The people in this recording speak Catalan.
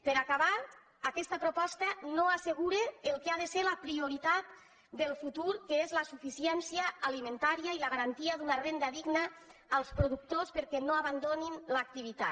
per acabar aquesta proposta no assegura el que ha de ser la prioritat del futur que és la suficiència alimentària i la garantia d’una renda digna als productors perquè no abandonin l’activitat